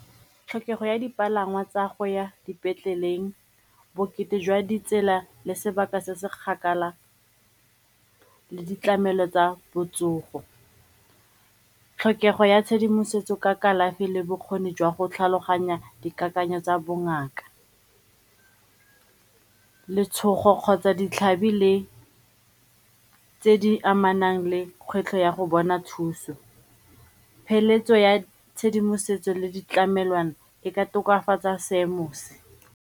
Tlhokego ya dipalangwa tsa go ya dipetleleng, bokete jwa ditsela le sebaka se se kgakala le ditlamelo tsa botsogo, tlhokego ya tshedimosetso ka kalafi le bokgoni jwa go tlhaloganya dikakanyo tsa bongaka, letshogo kgotsa ditlhabi le tse di amanang le kgwetlho ya go bona thuso, peeletso ya tshedimosetso le ditlamelwana e ka tokafatsa seemo se.